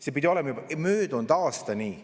See pidi olema juba möödunud aastal nii.